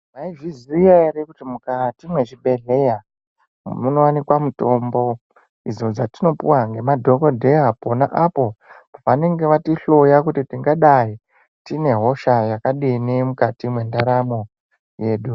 Mayizviziya here kuti mukati mezvibhedhlera munowanikwa mutombo, idzo dzatinopuwa ngemadhokodheya po. Khona apo vanenge vatihloya kuti tingadayi tinehosha yakadini mukati mendaramo yedu.